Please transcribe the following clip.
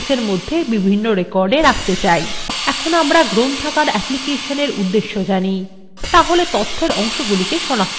এখন আমরা library applicationএর উদ্দেশ্য জানি তাহলে তথ্যের অংশগুলিকে সনাক্ত করা যাক